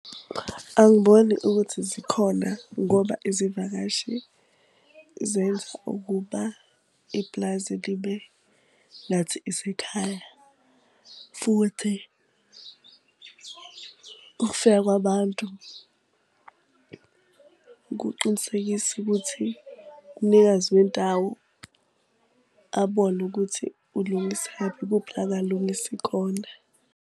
Angiboni ukuthi zikhona ngoba izivakashi zenza ukuba iplazi libe ngathi isekhaya. Futhi ukufika kwabantu kuqinisekisa ukuthi umnikazi wendawo abone ukuthi ulungisaphi, ikuphi la angalungisi khona.